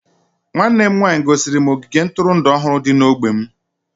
nwanne m nwanyị gosiri m ogige ntụrụndụ ọhụrụ dị n'ógbè m